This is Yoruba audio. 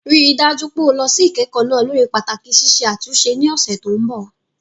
Rí i dájú pé o lọ sí ìkẹ́kọ̀ọ́ náà lórí pàtàkì ṣíṣe àtúnṣe ní ọ̀sẹ̀ tó ń bọ̀.